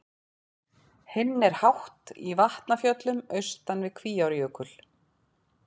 Hinn er hátt í Vatnafjöllum austan við Kvíárjökul.